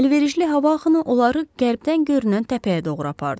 Əlverişli hava axını onları qərbdən görünən təpəyə doğru apardı.